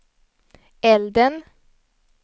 elden